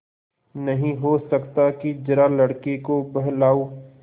नहीं हो सकता कि जरा लड़के को बहलाओ